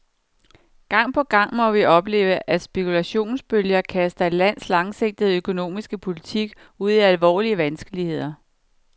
Gang på gang må vi opleve, at spekulationsbølger kaster et lands langsigtede økonomiske politik ud i alvorlige vanskeligheder.